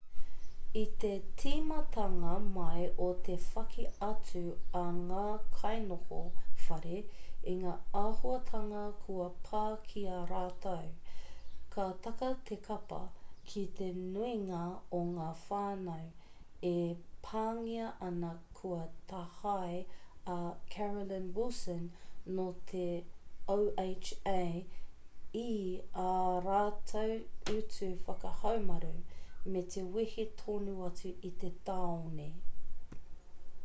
i te tīmatanga mai o te whaki atu a ngā kainoho whare i ngā āhuatanga kua pā ki a rātou ka taka te kapa ki te nuinga o ngā whānau e pāngia ana kua tāhae a carolyn wilson nō te oha i ā rātou utu whakahaumaru me te wehe tonu atu i te tāone